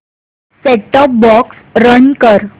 set top box run कर